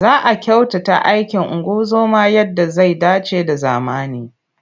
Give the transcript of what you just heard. Za a kyautata aikin ungozoma yadda zai dace da zamani.